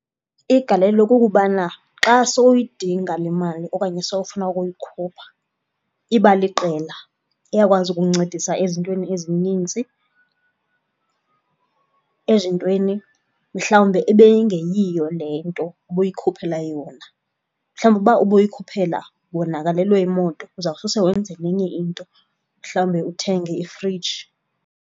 Igalelo kukubana xa sowuyidinga le mali okanye sowufuna ukuyikhupha iba liqela iyakwazi ukuncedisa ezintweni ezinintsi, ezintweni mhlawumbe ebeyingeyiyo le nto ubuyikhuphela yona. Mhlawumbi uba ubuyikhuphela wonakalelwe yimoto uzawusose wenze nenye into, mhlawumbe uthenge ifriji.